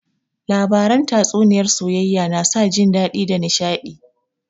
Labaran tatsuniyar soayayya na sa jin dadi da nishadi